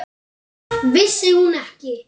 Vissi hún ekki?